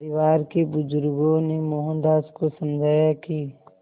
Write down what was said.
परिवार के बुज़ुर्गों ने मोहनदास को समझाया कि